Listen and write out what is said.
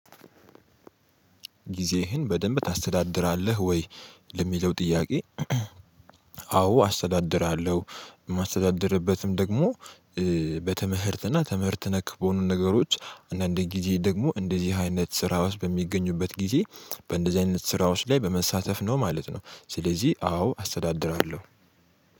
ጊዜህን በደንብ ታስተዳድራለህ ወይ ለሚለው ጥያቄ? አዎ አስተዳድራለሁ። የማስተዳድርበትም ደግሞ በትምህርትና ትምህርት ነክ በሆኑ ነገሮች አንዳንድ ጊዜ ደግሞ እንደዚህ አይነት ስራ ራሱ በሚገኙበት ጊዜ በእንደዚህ አይነት ስራወች ላይ በመሳተፍ ነው ማለት ነው። ስለዚህ አዎ አስተዳድራለሁ።